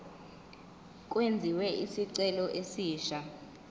kwenziwe isicelo esisha